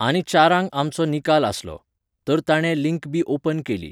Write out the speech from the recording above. आनी चारांक आमचो निकाल आसलो. तर ताणें लींक बी ओपन केली.